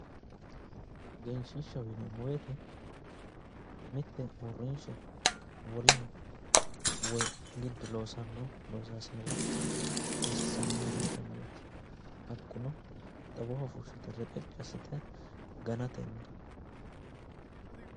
Egenshishshaho yinneemmo woyte mite uurrinsha woleho woyi mitu loosanorichira xawisano hayyoti, hakkuno xawoho fushite reqeci assite ganatenni